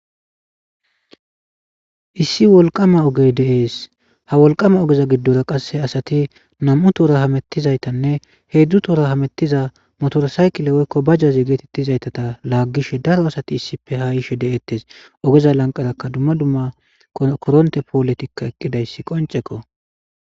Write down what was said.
Issi wolqama oge dees ha wolqama ogeza giddora qasse asati nam'u toora hamettizaytanne heedzdzu toora hamettiza motorosaykile woykko bajjazi geetettizaytata laaggishe daro asati issipe hayishe de'ettes ogeza lanqarakka dumma dumma koronte pooletikka eqqidayssi qonceko.